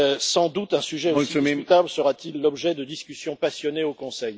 Sans doute un sujet aussi discutable fera t il l'objet de discussions passionnées au Conseil.